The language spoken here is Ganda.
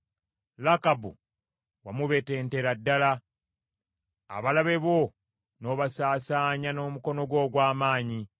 Lakabu wamubetentera ddala; abalabe bo n’obasaasaanya n’omukono gwo ogw’amaanyi.